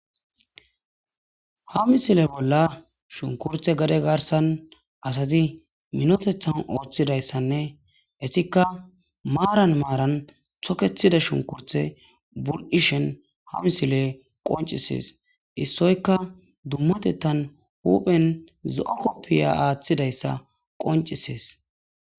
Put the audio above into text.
ha misile bolla shunkurthe gade garsan asazi minotethan ooththidayssanne esikka maaran maaran thokethida shunkurthe burqishen ha misile qoncisees issoyka dummatettan huphen zo7a koppiya aaththidayssa qoncisees